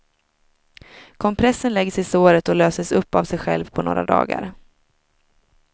Kompressen läggs i såret och löses upp av sig själv på några dagar.